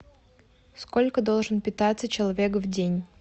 сколько должен питаться человек в день